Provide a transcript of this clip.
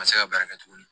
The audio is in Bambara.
Ka se ka baara kɛ tuguni